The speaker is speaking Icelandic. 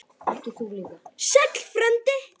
Sæll frændi!